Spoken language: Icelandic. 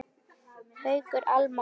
Haukur, Alma og Valur.